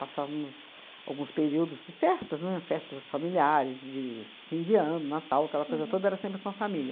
Passávamos alguns períodos de festas, né, festas familiares, de fim de ano, Natal, aquela coisa toda era sempre com a família.